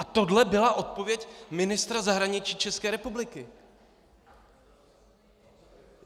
A tohle byla odpověď ministra zahraničí České republiky!